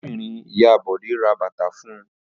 Arábìnrin-ìyá Bọ̀dé ra bàtà fún un.